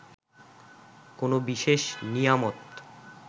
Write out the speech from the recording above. কোনো বিশেষ নিয়ামত